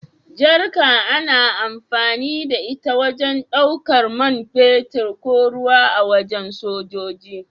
Jarka ana amfani da ita wajen ɗaukan mai fetur ko ruwa a wajen sojoji.